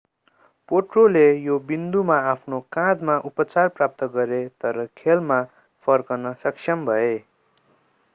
पोट्रोले यो विन्दुमा आफ्नो काँधमा उपचार प्राप्त गरे तर खेलमा फर्कन सक्षम भए